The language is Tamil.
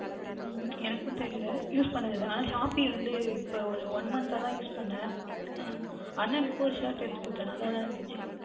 உம் எனக்கும் தெரியவில்லை Use பண்ணதில்லை ஆனால் Shopee வந்துஎனக்கும் One month அஹ் three தான் Use பண்ணினேன் அஹ் அண்ணனுக்கு ஓர் Shirt எடுத்து கொடுத்தேன் நன்றாக தான் இருந்தது